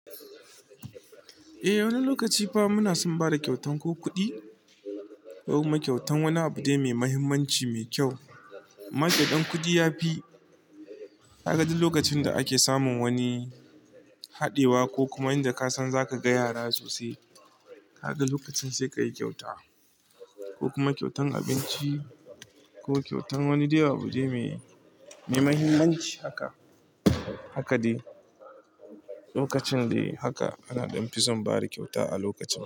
Eh, wani lokaci fa muna son bada kyautan ko kuɗi, ko kuma kyautan wani abu dai mai mahimmanci mai kyau. Amma kyautan kuɗi yafi. Ka ga duk lokacin da ake samun wani haɗewa ko kuma inda ka san zaka ga yara sosai, ka ga lokacin sai ka yi kyauta ko kuma kyautan abinci ko kyautan wani dai abu dai mai, mai mahimmanci haka. Haka dai lokacin dai haka ana ɗanfi son bada kyauta a lokacin.